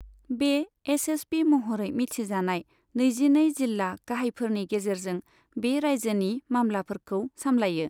बे S S P महरै मिथिजानाय नैजिनै जिल्ला गाहायफोरनि गेजेरजों बे रायजोनि मामलाफोरखौ सामलायो।